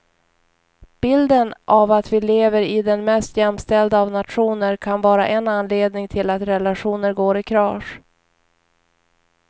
Bilden av att vi lever i den mest jämställda av nationer kan vara en anledning till att relationer går i kras.